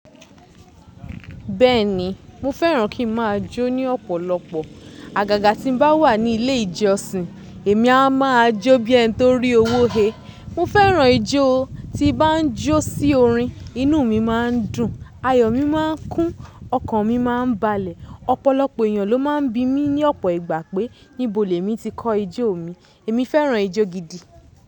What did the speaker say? Bẹ́ẹ̀ni, mo fẹ́ràn kí n má a jó ní ọ̀pọ̀lọpọ̀. Àgàgà tí n bá wà ní ilé ìjọsìn, èmi a má a jó bí ẹni tó rí owó he. Mo fẹ́ràn ijó. Tí n bá jó sí orin, inú mi má a n dùn, ayọ̀ mi má a n kún, ọkàn mi má a n balẹ̀. Ọ̀pọ̀lọpọ̀ ènìyàn ló má a n bí mi ní ọ̀pọ̀ ìgbà pé níbo lẹ̀ mi ti kọ ijó mi. Èmi fẹ́ràn ijó gidi.